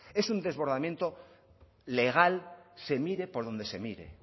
es un desbordamiento legal se mire por donde se mire